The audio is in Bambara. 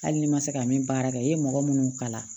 Hali ni ma se ka min baara kɛ i ye mɔgɔ munnu kala